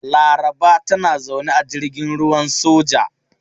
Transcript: Laraba tana zaune a jirgin ruwan soja.